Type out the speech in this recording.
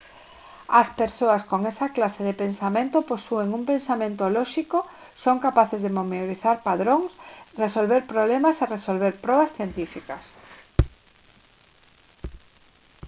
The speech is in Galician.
as persoas con esa clase de pensamento posúen un pensamento lóxico son capaces de memorizar padróns resolver problemas e resolver probas científicas